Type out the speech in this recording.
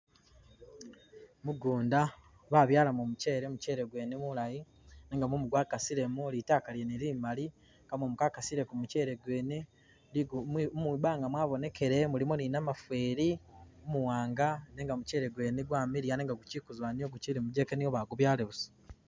Mugundu babyalamo muchele muchele gwene mulaayi nenga mumu gwakasilemo litaaka lyene limaali, amumu gwakasile kumuchele gwene ligu mwibanga mwabonekele mulimo ne namufeli umuwanga nenga muchele gwene gwamiliya nenga guchi kuzoowa guchili mujeke niwo bagubyaala busa.